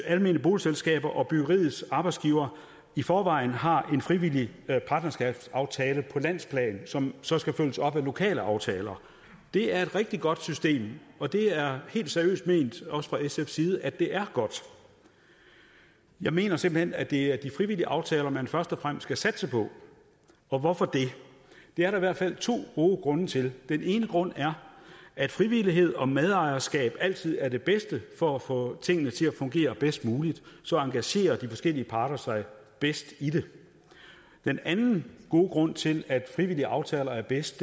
almene boligselskaber og byggeriets arbejdsgivere i forvejen har en frivillig partnerskabsaftale på landsplan som så skal følges op af lokale aftaler det er et rigtig godt system og det er helt seriøst ment også fra sfs side at det er godt jeg mener simpelt hen at det er de frivillige aftaler man først og fremmest skal satse på og hvorfor det det er der i hvert fald to gode grunde til den ene grund er at frivillighed og medejerskab altid er det bedste for at få tingene til at fungere bedst muligt så engagerer de forskellige parter sig bedst i det den anden gode grund til at frivillige aftaler er bedst